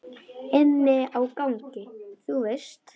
Inni á gangi, þú veist.